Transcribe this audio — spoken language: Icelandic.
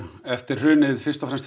eftir hrunið fyrst og fremst